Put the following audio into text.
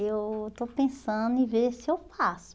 Eu estou pensando em ver se eu faço.